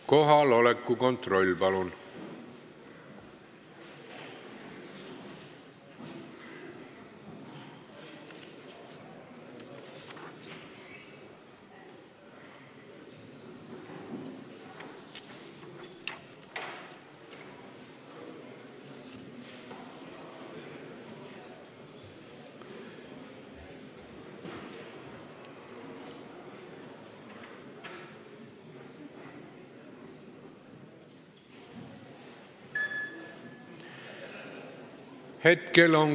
Kohaloleku kontroll, palun!